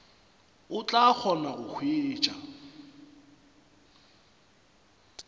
o tla kgona go hwetša